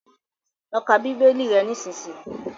Lọ kà bibeli rè nisisiyi!